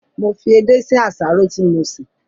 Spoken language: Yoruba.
Mo fi edé sí àsáró tí mo sè